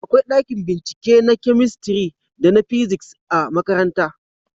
akwai ɗakin bincike na kamistiri da na fisiks a makaranta